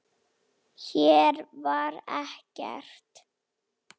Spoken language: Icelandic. Hér var ekkert.